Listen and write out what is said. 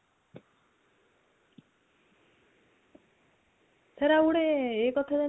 sir ଆଉ ଗୋଟେ ଇଏ କଥା